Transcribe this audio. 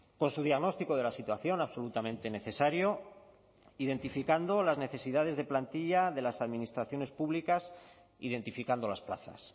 con su diagnóstico de la situación absolutamente necesario identificando las necesidades de plantilla de las administraciones públicas identificando las plazas